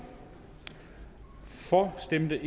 for stemte